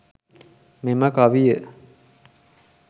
මෙම කවිය